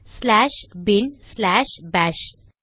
slash bin slash bash